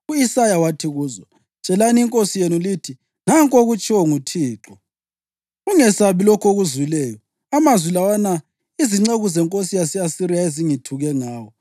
u-Isaya wathi kuzo, “Tshelani inkosi yenu lithi, ‘Nanku okutshiwo nguThixo: Ungesabi lokhu okuzwileyo, amazwi lawana izinceku zenkosi yase-Asiriya ezingithuke ngawo.